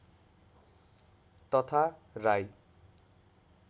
तथा राई